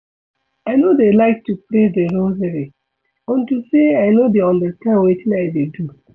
I no dey like to pray the rosary unto say I no dey understand wetin I dey do